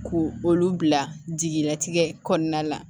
Ko olu bila jigilatigɛ kɔnɔna la